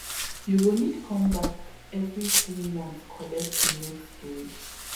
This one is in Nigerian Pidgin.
you go need come back every three months collect the next dose